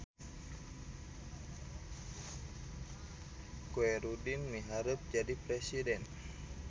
Khoerudin miharep jadi presiden